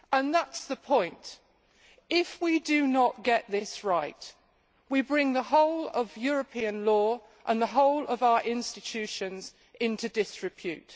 That is the point if we do not get this right, we bring the whole of European law and the whole of our institutions into disrepute.